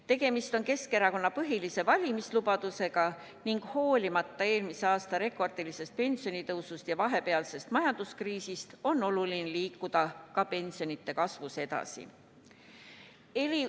Tegemist on Keskerakonna põhilise valimislubadusega ning hoolimata eelmise aasta rekordilisest pensionitõusust ja vahepealsest majanduskriisist on oluline liikuda ka pensionide kasvus edasi.